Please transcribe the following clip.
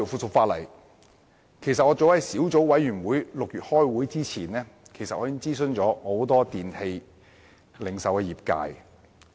再加上，早在小組委員會於6月開會之前，我已就《修訂令》諮詢很多電器零售業界人士。